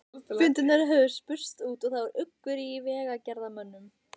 Fundirnir höfðu spurst út og það var uggur í vegagerðarmönnum.